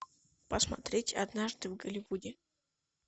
посмотреть однажды в голливуде